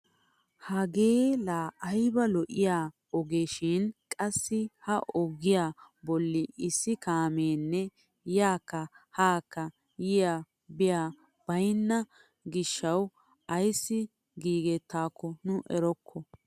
Hagee la ayba lo"iyaa ogee shin qassi ha ogiyaa bolli issi kaameenne yaakka haakka yiyay biyaya baynna giishshawu ayssi gigettaakko nu erokko.